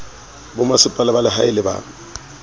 bomasepala ba lehae le ba